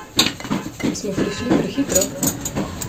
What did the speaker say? Smo prišli prehitro?